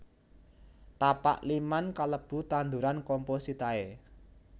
Tapak liman kalebu tanduran compositae